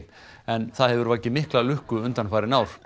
en það hefur vakið mikla lukku undanfarin ár